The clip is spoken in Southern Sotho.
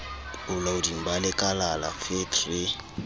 bolaoding ba lekalala fet re